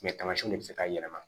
tamasiyɛnw de bi se k'a yɛlɛma